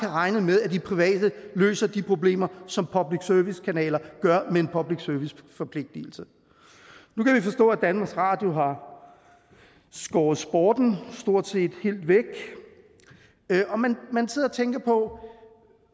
regne med at de private løser de problemer som public service kanalerne gør med en public service forpligtelse nu kan vi forstå at danmarks radio har skåret sporten stort set helt væk og man man sidder og tænker på